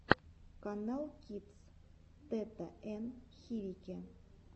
каналкидс тата ен хирики